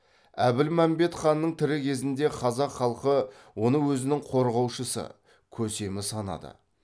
әбілмәмбет ханның тірі кезінде қазақ халқы оны өзінің қорғаушысы көсемі санады